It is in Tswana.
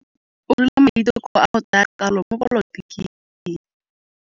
O dirile maitekô a go tsaya karolo mo dipolotiking.